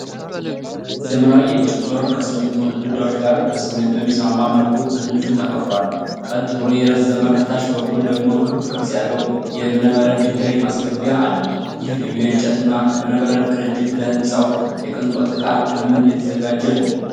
ዘመናዊ የእንጨት በር ከሲሚንቶ ግድግዳዎች ጋር በሚስማማ መልኩ በትንሹ ተከፍቷል። ቀጥ ብሎ የረዘመ፣ ከታች በኩል ደግሞ ክብ ቅርጽ ያለው የእብነበረድ ድንጋይ ማስገቢያ አለው። ይህ ልዩ የእንጨት እና እብነበረድ ቅንጅት ለህንጻው የቅንጦት እቃ ከምን የተዛጋጀ ነው?